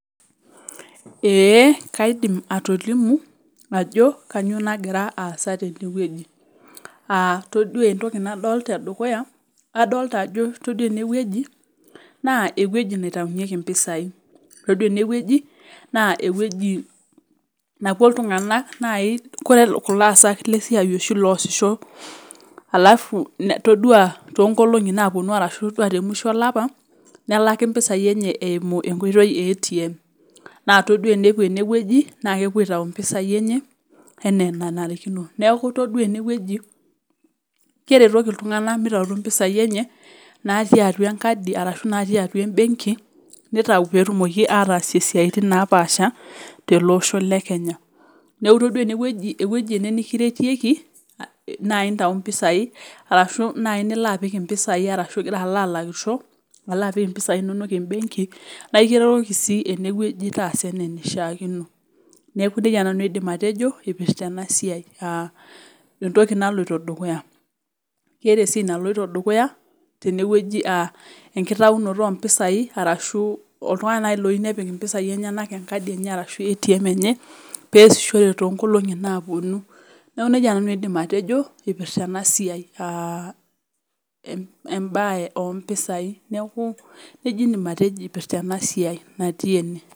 Ee kaidim atolimu ajo kainyiooo nagira aasa tenewueji aa taduaa eneweuji naa ewueji napuo iltung'anak